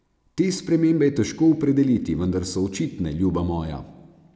Te spremembe je težko opredeliti, vendar so očitne, ljuba moja.